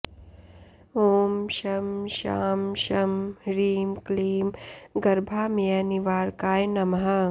ॐ शं शां षं ह्रीं क्लीं गर्भामयनिवारकाय नमः